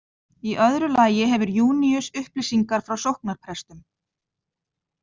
Í öðru lagi hefur Júníus upplýsingar frá sóknarprestum.